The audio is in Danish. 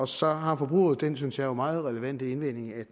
så har forbrugerrådet den synes jeg jo meget relevante indvending at